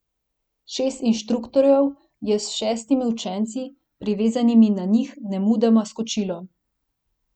Šest inštruktorjev je s šestimi učenci, privezanimi na njih, nemudoma skočilo.